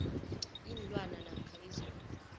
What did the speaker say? iinlwana namkha izinto